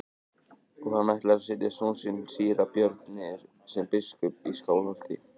Og hann ætlar að setja son sinn síra Björn niður sem biskup í Skálholti.